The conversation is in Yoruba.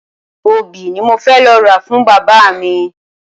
Obì ni mo fẹ́ lọ ra fún bàbá mi.